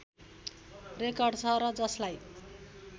record छ र जसलाई